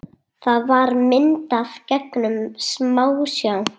Það var myndað gegnum smásjá.